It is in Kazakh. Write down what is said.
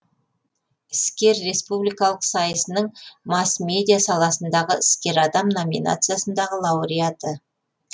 іскер республикалық сайысының масс медиа саласындағы іскер адам номинациясындағы лауреаты